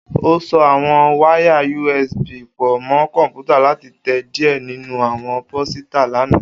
O so awọn wáyàUSB pọ mọ kọnputa lati tẹ diẹ ninu awọn posita lana